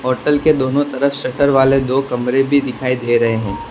Hotel के दोनों तरफ शट्टर वाले दो कमरे भी दिखाई दे रहे हैं।